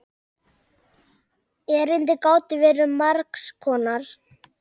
Erindin gátu verið margs konar.